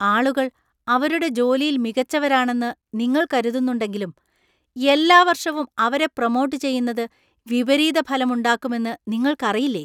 ആളുകൾ അവരുടെ ജോലിയിൽ മികച്ചവരാണെന്ന് നിങ്ങൾ കരുതുന്നുണ്ടെങ്കിലും , എല്ലാ വർഷവും അവരെ പ്രമോട്ട് ചെയ്യുന്നത് വിപരീതഫലമുണ്ടാക്കുമെന്ന് നിങ്ങൾക്കറിയില്ലേ?